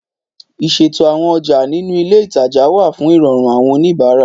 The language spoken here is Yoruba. Ìṣètò àwọn ọjà ninu ilé ìtajà wa fun ìròrùn àwọn oníbàárà